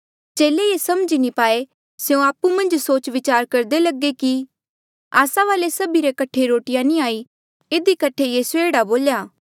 चेले ये समझी नी पाए स्यों आपु मन्झ सोच विचार करदे लगे कि आस्सा वाले सभी रे कठे रोटिया नी हाई इधी कठे यीसूए एह्ड़ा बोल्या